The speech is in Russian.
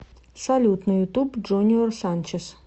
салют на ютуб джуниор санчез